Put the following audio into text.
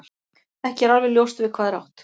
Ekki er alveg ljóst við hvað er átt.